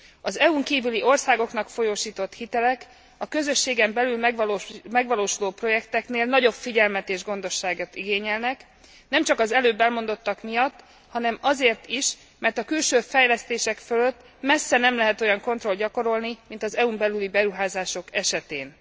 Az EU n kívüli országoknak folyósított hitelek a közösségen belül megvalósuló projekteknél nagyobb figyelmet és gondosságot igényelnek, nem csak ez előbb elmondottak miatt, hanem azért is, mert a külső fejlesztések fölött messze nem lehet olyan kontrolt gyakorolni, mint az EU n belüli beruházások esetén.